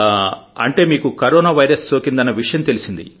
అంటే మీకు corona virus సోకిందన్న విషయం తెలిసింది